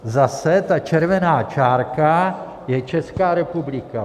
Zase ta červená čárka je Česká republika.